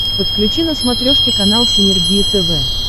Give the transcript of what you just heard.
подключи на смотрешке канал синергия тв